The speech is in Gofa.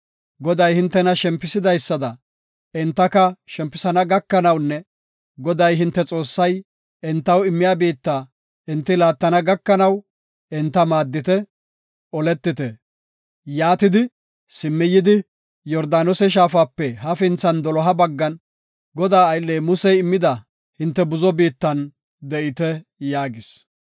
Goday hintena shempisidaysada, entaka shempisana gakanawunne Goday hinte Xoossay entaw immiya biitta enti laattana gakanaw, enta maaddite; oletite. Yaatidi, simmi yidi, Yordaanose Shaafape hafinthan doloha baggan, Godaa aylley Musey immida hinte buzo biittan de7ite” yaagis.